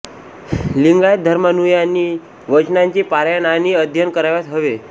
लिंगायत धर्मानुयायांनी वचनांचे पारायण आणि अध्ययन करावयास हवे